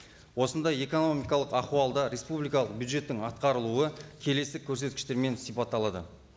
осындай экономикалық ахуалда республикалық бюджеттің атқарылуы келесі көрсеткіштермен сипатталады